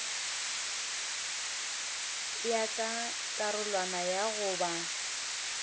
ya ka karolwana ya goba